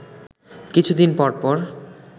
কিছু দিন পর পর